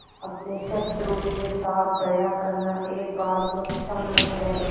अपने शत्रु के साथ दया करना एक बार तो क्षम्य है